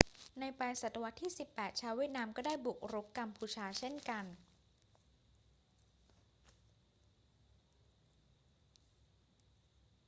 ในปลายศตวรรษที่ 18 ชาวเวียดนามก็ได้บุกรุกกัมพูชาเช่นกัน